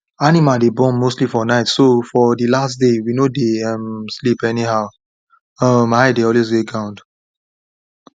animal dey born mostly for night so for de last days we no dey um sleep anyhow um eye dey always dey ground